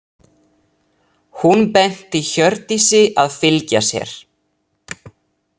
Hún benti Hjördísi að fylgja sér.